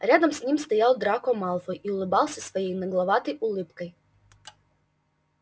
рядом с ним стоял драко малфой и улыбался своей нагловатой улыбкой